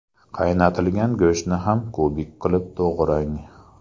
Qaynatilgan go‘shtni ham kubik qilib to‘g‘rang.